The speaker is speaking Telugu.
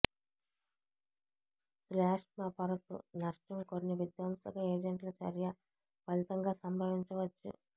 శ్లేష్మ పొరకు నష్టం కొన్ని విధ్వంసక ఏజెంట్ల చర్య ఫలితంగా సంభవించవచ్చు